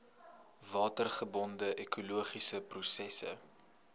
watergebonde ekologiese prosesse